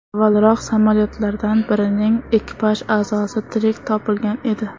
Avvalroq, samolyotlardan birining ekipaj a’zosi tirik topilgan edi.